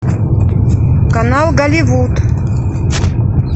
канал голливуд